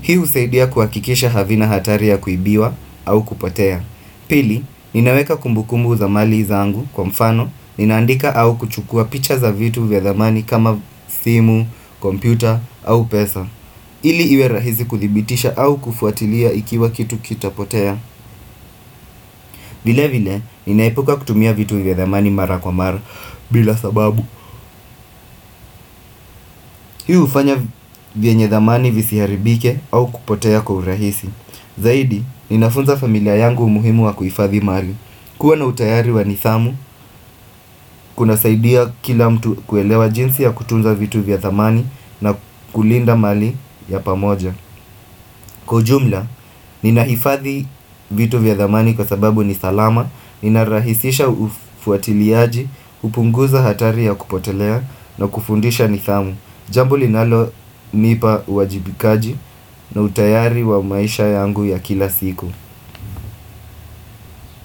Hii husaidia kuakikisha havina hatari ya kuibiwa au kupotea. Pili, ninaweka kumbukumbu za mali zangu kwa mfano, ninaandika au kuchukua picha za vitu vya dhamani kama simu, kompyuta au pesa ili iwe rahisi kuthibitisha au kufuatilia ikiwa kitu kitapotea vile vile, ninaepuka kutumia vitu vya dhamani mara kwa mara, bila sababu Hii ufanya vyenye dhamani visiharibike au kupotea kwa urahisi Zaidi, ninafunza familia yangu umuhimu wa kuifadhi mari kuwa na utayari wa nidhamu, kuna saidia kila mtu kuelewa jinsi ya kutunza vitu vya dhamani na kulinda mali ya pamoja Kwa ujumla, ninaifadhi vitu vya dhamani kwa sababu ni salama, ninarahisisha ufuatiliaji, upunguza hatari ya kupotelea na kufundisha nidhamu Jambo linalo nipa uwajibikaji na utayari wa maisha yangu ya kila siku.